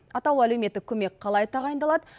атаулы әлеуметтік көмек қалай тағайындалады